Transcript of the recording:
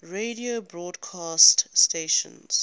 radio broadcast stations